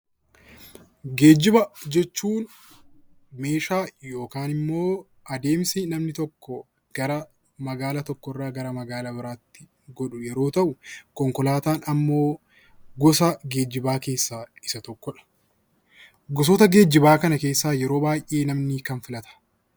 Geejjiba jechuun meeshaa yookiin immoo adeemsa namni tokko gara magaalaa tokkorraa gara magaalaa biraatti godhuu yeroo ta'u, konkolaataan immoo gosa geejjibaa keessaa tokkodha. Gosoota geejjibaa kana keessaa namni yeroo baay'ee kam filata?